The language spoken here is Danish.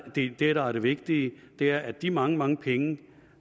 det det der er det vigtige er at de mange mange penge